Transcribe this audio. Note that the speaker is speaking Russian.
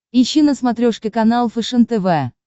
ищи на смотрешке канал фэшен тв